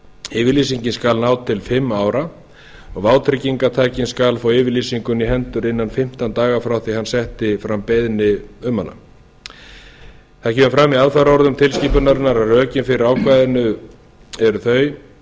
yfirlýsingin skal ná til fimm ára og vátryggingartakinn skal fá yfirlýsinguna í hendur innan fimmtán daga frá því hann setti fram beiðni um hana það kemur fram í fara orðum tilskipunarinnar að rökin fyrir ákvæðinu eru þau að